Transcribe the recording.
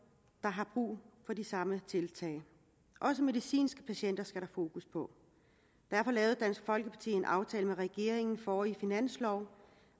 der har brug for de samme tiltag også medicinske patienter skal der fokus på derfor lavede dansk folkeparti en aftale med regeringen forrige finanslov